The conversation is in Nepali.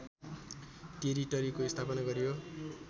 टेरिटरीको स्थापना गरियो